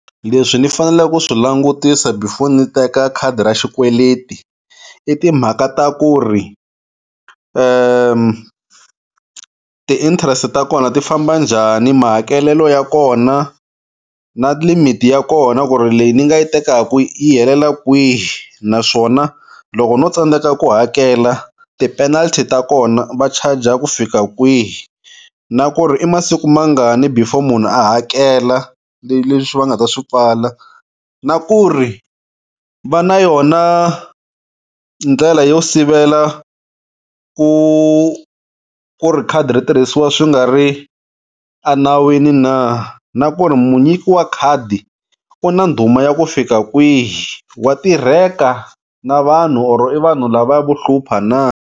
Leswi ni faneleke ku swi langutisa before ni teka khadi ra xikweleti i timhaka ta ku ri ti-interest ta kona ti famba njhani mahakelelo ya kona na limit ya kona ku ri leyi ni nga yi tekaka yi helela kwihi naswona loko no tsandzeka ku hakela ti-penalty ta kona va charge-a ku fika kwihi na ku ri i masiku mangani before munhu a hakela leyi leswi va nga ta swi pfala na ku ri va na yona ndlela yo sivela ku ku ri khadi ri tirhisiwa swi nga ri enawini na, na ku ri munyiki wa khadi u na ndhuma ya ku fika kwihi wa tirheka na vanhu or i vanhu lavaya vo hlupha na.